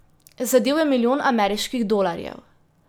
Zadel je milijon ameriških dolarjev.